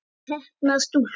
Heppnar stúlkur?